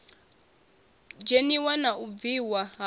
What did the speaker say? dzheniwa na u bviwa afho